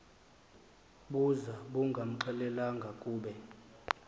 buza bungamxelelanga kube